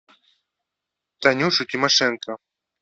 танюшу тимошенко